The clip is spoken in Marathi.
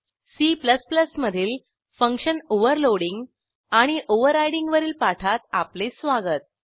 C मधील फंक्शन ओव्हरलोडिंग आणि ओव्हरराइडिंग वरील पाठात आपले स्वागत